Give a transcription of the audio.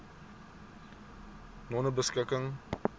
nonebeskikking